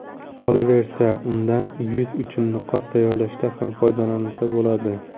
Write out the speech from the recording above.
Qolaversa, undan yuz uchun niqob tayyorlashda ham foydalansa bo‘ladi.